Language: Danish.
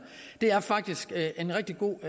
faktisk er en rigtig god